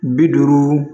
Bi duuru